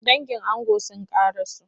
Dangin ango sun kara so.